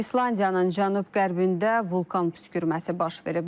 İslandiyanın cənub-qərbində vulkan püskürməsi baş verib.